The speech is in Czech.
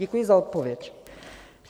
Děkuji za odpověď.